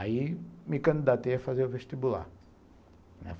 Aí, me candidatei a fazer o vestibular.